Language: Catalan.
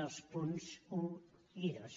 dels punts un i dos